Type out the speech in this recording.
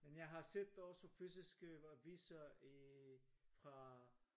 Men jeg har set også fysiske aviser i fra